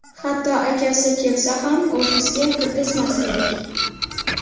Hatto akasi kelsa ham ofisga kirgizmas edik.